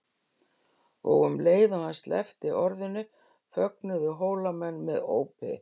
Og um leið og hann sleppti orðinu fögnuðu Hólamenn með ópi.